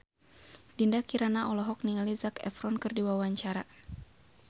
Dinda Kirana olohok ningali Zac Efron keur diwawancara